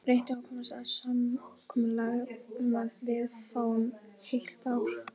Reyndu að komast að samkomulagi um að við fáum heilt ár.